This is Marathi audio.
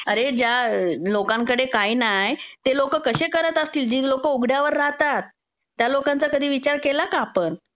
अरे ज्या लोकांकडे काय नाय, ते लोक कशे करत असतील जी लोक उघड्यावर राहतात. त्या लोकांचा कधी विचार केला का आपण?